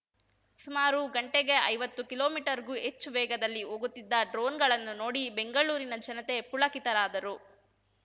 ಸುಮಾರು ಗಂಟೆಗೆ ಐವತ್ತು ಕಿಲೋಮೀಟರ್‌ಗೂ ಹೆಚ್ಚು ವೇಗದಲ್ಲಿ ಹೋಗುತ್ತಿದ್ದ ಡ್ರೋನ್‌ಗಳನ್ನು ನೋಡಿ ಬೆಂಗಳೂರಿನ ಜನತೆ ಪುಳಕಿತರಾದರು